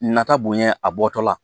Nata bonya a bɔtɔ la